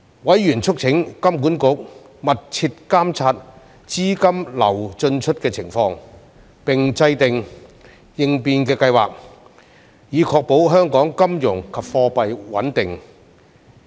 委員促請金管局密切監察資金流進出的情況，並制訂應變計劃，以確保香港金融及貨幣穩定。